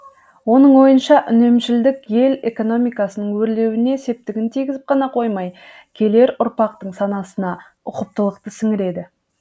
оның ойынша үнемшілдік ел экономикасының өрлеруіне септігін тигізіп қана қоймай келер ұрпақтың санасына ұқыптылықты сіңіреді